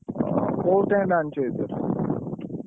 ଓହୋ କୋଉ tent ଆଣିଛ କି?